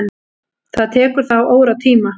Það tekur þá óratíma.